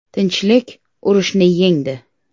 Tinchlik urushni yengdi.